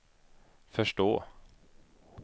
förstå